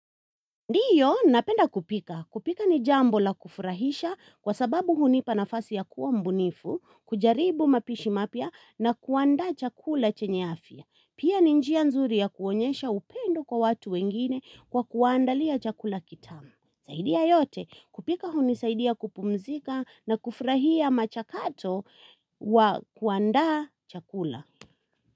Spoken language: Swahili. Ndiyo, napenda kupika. Kupika ni jambo la kufurahisha kwa sababu hunipa nafasi ya kuwa mbunifu, kujaribu mapishi mapya na kuandaa chakula chenye afya. Pia ni njia nzuri ya kuonyesha upendo kwa watu wengine kwa kuwa andalia chakula kitamu. Zaidi ya yote, kupika huni saidia kupumzika na kufurahia machakato wa kuandaa chakula.